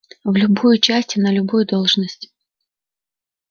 в любую часть на любую должность